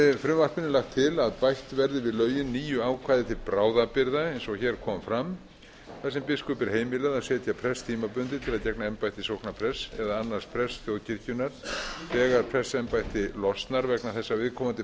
frumvarpinu er lagt til að bætt verði við lögin nýju ákvæði til bráðabirgða eins og hér kom fram þar sem biskupi er heimilað að setja prest tímabundið til að gegna embætti sóknarprests eða annars prests þjóðkirkjunnar þegar prestsembætti losnar vegna þess að viðkomandi